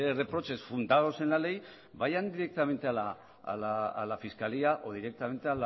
reproches fundados en la ley vayan directamente a la fiscalía o directamente